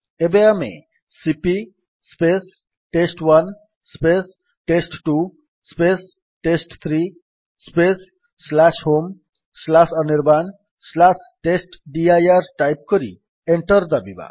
ଏବେ ଆମେ C P test one test two test three homeanirbantestdir type କରି ଏଣ୍ଟର୍ ଦାବିବା